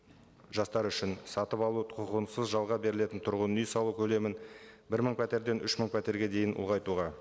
жастар үшін сатып алу құқығынсыз жалға берілетін тұрғын үй салу көлемін бір мың пәтерден үш мың пәтерге дейін ұлғайтуға